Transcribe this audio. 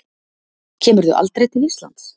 Kemurðu aldrei til Íslands?